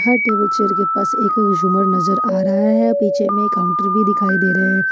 हर table chair के पास एक झूमर नजर आ रहा है पीछे में काउंटर भी दिखाई दे रहे हैं।